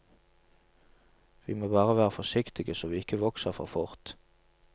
Vi må bare være forsiktige, så vi ikke vokser for fort.